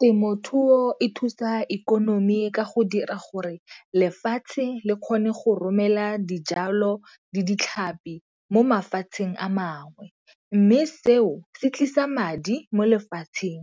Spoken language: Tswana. Temothuo e thusa ikonomi ka go dira gore lefatshe le kgone go romela dijalo le ditlhapi mo mafatsheng a mangwe, mme seo se tlise sa madi mo lefatsheng.